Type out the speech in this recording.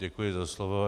Děkuji za slovo.